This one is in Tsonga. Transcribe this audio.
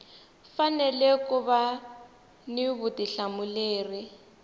fanele ku va ni vutihlamuleri